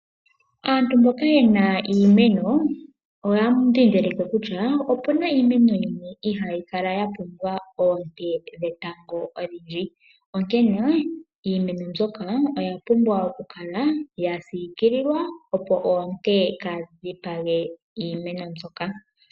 Aantu mboka yena iimeno, oya dhidhilike kutya opuna iimeno yimwe ihayi kala ya pumbwa oote dhetango odhindji. Onkene iimeno mbyoka oya pumbwa oku kala ya siikililwa opo oote ka dhipange iimeno mbyoka.